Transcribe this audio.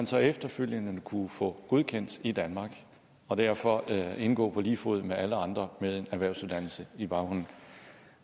så efterfølgende kunne få godkendt i danmark og derfor indgå på lige fod med alle andre med en erhvervsuddannelse